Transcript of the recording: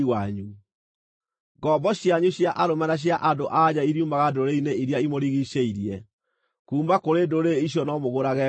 “ ‘Ngombo cianyu cia arũme na cia andũ-a-nja iriumaga ndũrĩrĩ-inĩ iria imũrigiicĩirie; kuuma kũrĩ ndũrĩrĩ icio no mũgũrage ngombo.